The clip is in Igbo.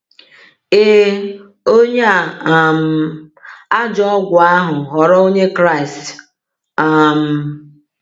Ee, onye a um ajọ ọgwụ ahụ ghọrọ Onye Kraịst. um